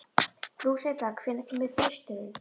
Lúsinda, hvenær kemur þristurinn?